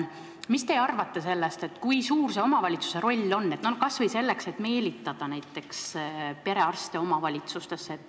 Mis te arvate, kui suur on omavalitsuse roll kas või selleks, et meelitada perearste kohapeale?